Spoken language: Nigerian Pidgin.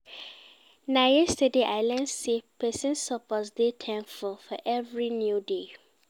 Na yesterday I learn sey pesin suppose dey thankful for every new day.